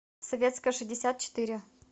советская шестьдесят четыре